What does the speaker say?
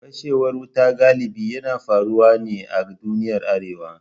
Fashewar wuta galibi yana faruwa ne a duniyar Arewa.